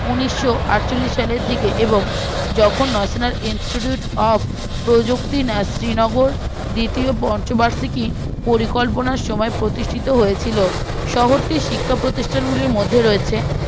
উনিসআটচল্লিশের সালের দিকে এবং যখুন national institute of প্রযুক্তি শ্রীনগর দ্বিতীয় পঞ্চবার্ষিকী পরিকল্পনার সময়ে প্রতিষ্ঠিত হয়েছিল শহরটির শিক্ষা প্রতিষ্টানগুলির মধ্যে রয়েছে